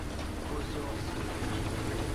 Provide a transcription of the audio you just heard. озерск